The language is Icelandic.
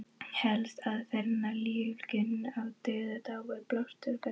Helsta aðferðin við lífgun úr dauðadái er blástursaðferðin.